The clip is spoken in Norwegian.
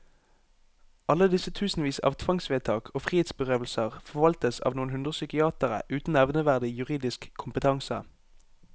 Alle disse tusenvis av tvangsvedtak og frihetsberøvelser forvaltes av noen hundre psykiatere uten nevneverdig juridisk kompetanse.